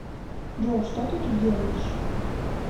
джой что ты тут делаешь